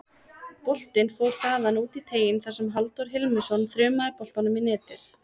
Boltinn fór þaðan út í teiginn þar sem Halldór Hilmisson þrumaði boltanum í netið.